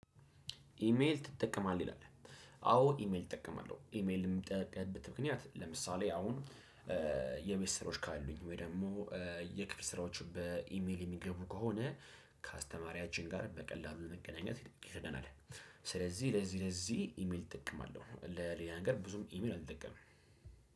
ኢሜል ትጠቀማለህ ይላል? አዎ ኢሜል እጠቀማለሁ ኢሜል እምጠቀምበት። ምክንያት ለምሳሌ አሁን የቤት ስራዎች ካሉኝ ወይ ደግሞ የክፍል ስራዎች በኢሜል የሚገቡ ከሆነ ከአስተማሪያችን ጋር በቀላሉ ለመገናኘት ይጠ ይረዳናል። ስለዚህ ለዚህ ለዚህ ኢሜል እጠቀማለሁ ለሌላ ነገር ብዙም ኢሜል አልጠቀምም።